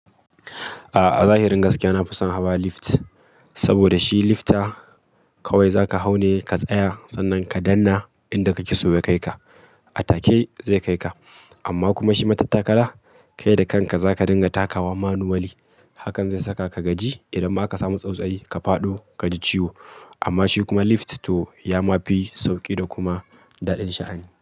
A'a zahirin gaskiya, na fi son hawa lift saboda shi lifta kawai za ka hau ne ka tsaya sannan ka danna inda kake so ya kai ka. A take zai kai ka amma kuma shi matattakala kai da kanka za ka dinga takawa manually. Hakan zai saka ka gaji idan ma aka samu tsautsayi ka faɗo kaji ciwo. Amma shi kuma lift to ya ma fi sauki da kuma daɗin sha'ani.